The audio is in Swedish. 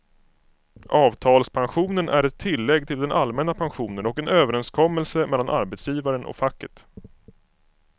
Avtalspensionen är ett tillägg till den allmänna pensionen och en överenskommelse mellan arbetsgivaren och facket.